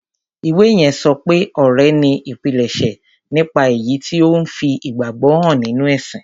Ìwé yẹn sọ pé ọrẹ ni ìpilẹ̀ṣẹ̀ nípa èyí tí ó ń fi ìgbàgbọ́ hàn nínú ẹ̀sìn.